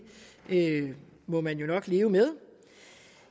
må man jo nok leve med